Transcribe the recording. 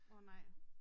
Åh nej